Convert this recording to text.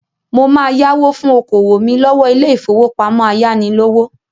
Mo máa yáwó fún okòwò mí lọ́wọ́ ilé-ìfowópamọ́ ayánilówó.